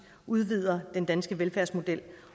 udvider den danske velfærdsmodel